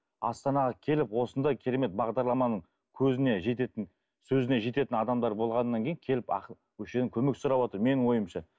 астанаға келіп осындай керемет бағдарламаның көзіне жететін сөзіне жететін адамдар болғаннан кейін келіп ақыл осы жерден көмек сұрап отыр менің ойымша